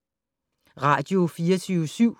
Radio24syv